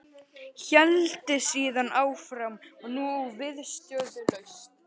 Héldi síðan áfram og nú viðstöðulaust